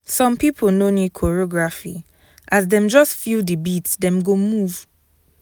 some people no need choreography as dem just feel the beat dem go move.